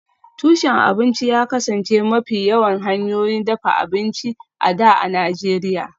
Tushen abinci ya kasance mafi yawan hanyoyin dafa abinci a da a Najeriya